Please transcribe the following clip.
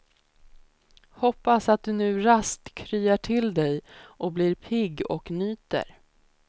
Hoppas att du nu raskt kryar till dig och blir pigg och nyter.